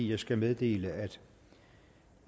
jeg skal meddele